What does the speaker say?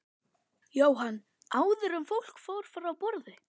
Jóhann: Áður en fólk fór frá borði?